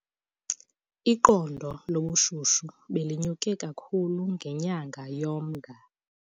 Iqondo lobushushu belinyuke kakhulu ngenyanga yoMnga.